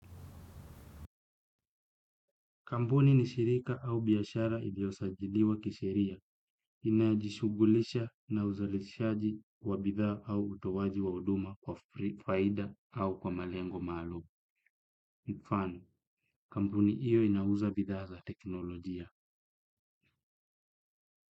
Kampuni ni shirika au biashara iliosajiliwa kisheria, inayojishughulisha na uzalishaji wa bidhaa au utowaji wa huduma kwa faida au kwa malengo maalum. Kwa mfano, kampuni hiyo inauza bidhaa za teknolojia.